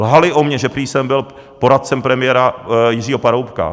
Lhali o mě, že prý jsem byl poradcem premiéra Jiřího Paroubka.